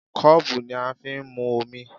Kọ́ọ̀bù ni a fi ń mu omi